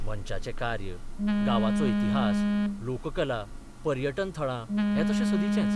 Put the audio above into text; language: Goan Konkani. मंचाचें कार्य, गांवचो इतिहास, लोककला, पर्यटन थळां हें तशें सदीचेंच.